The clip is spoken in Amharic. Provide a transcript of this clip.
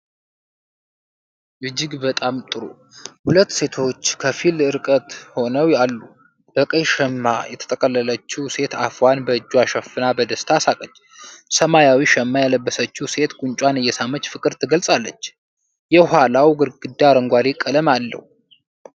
እጅግ በጣም ጥሩ! ሁለት ሴቶች ከፊል ቅርብ ሆነው አሉ። በቀይ ሸማ የተጠቀለለችው ሴት አፏን በእጇ ሸፍና በደስታ ሳቀች። ሰማያዊ ሸማ የለበሰችው ሴት ጉንጯን እየሳመች ፍቅር ትገልጻለች። የኋላው ግድግዳ አረንጓዴ ቀለም አለው።